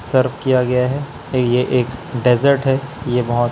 सर्व किया गया है ये एक डेजर्ट है ये बहुत--